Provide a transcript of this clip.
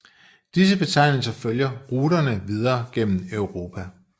Disse betegnelser følger ruterne videre gennem Europa